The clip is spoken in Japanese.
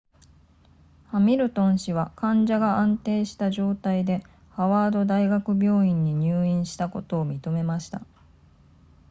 ハミルトン氏は患者が安定した状態でハワード大学病院に入院したことを認めました